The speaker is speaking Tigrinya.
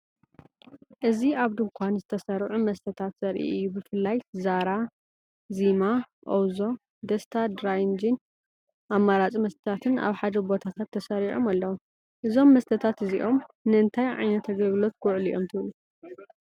እዚ ኣብ ድኳን ዝተሰርዑ መስተታት ዘርኢ እዩ። ብፍላይ “ዛራ”፣ “ዚማ”፣ “ኦውዞ”፣ “ደስታ ድራይ ጂን”ን ኣማራጺ መስተታትን ኣብ ሓደ ቦታታት ተሰሪዖም ኣለዉ። እዞም መስተታት እዚኦም ንእንታይ ዓይነት ኣገልግሎት ክውዕሉ እዮም ትብሉ?